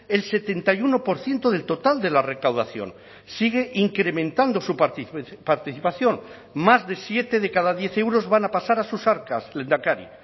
el setenta y uno por ciento del total de la recaudación sigue incrementando su participación más de siete de cada diez euros van a pasar a sus arcas lehendakari